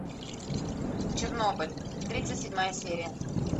чернобыль тридцать седьмая серия